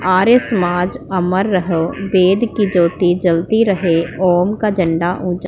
ਆਰਿਆ ਸਮਾਜ ਅਮਰ ਰਹੋ ਵੇਦ ਕੀ ਜਯੋਤੀ ਜਲਤੀ ਰਹੇ ਓਮ ਕਾ ਝੰਡਾਂ ਉਂਚਾ--